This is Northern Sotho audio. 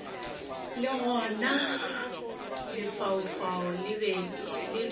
le gona lefaufau le be